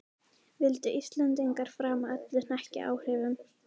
Vildu Íslendingar framar öllu hnekkja áhrifum